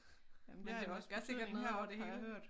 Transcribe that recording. Men det må gør sikkert noget over det hele